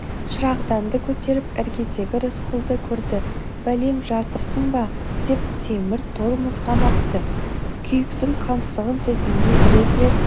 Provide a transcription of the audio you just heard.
шырағданды көтеріп іргедегі рысқұлды көрді бәлем жатырсың ба темір тор мызғымапты күйіктің қансығын сезгендей бір-екі рет